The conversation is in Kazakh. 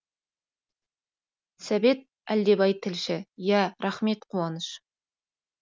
сәбит әлдебай тілші ия рахмет қуаныш